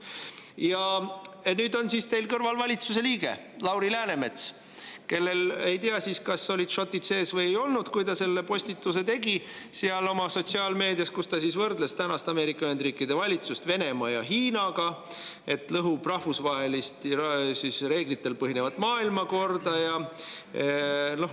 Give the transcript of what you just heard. Ja nüüd on teie kõrval valitsuse liige Lauri Läänemets, kelle kohta ei ole teada, kas tal olid šotid sees või ei olnud, kui ta tegi sotsiaalmeedias postituse, kus ta võrdles tänast Ameerika Ühendriikide valitsust Venemaa ja Hiina, et see lõhub rahvusvahelist reeglitel põhinevat maailmakorda.